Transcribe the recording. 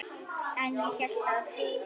En ég hélt að þú.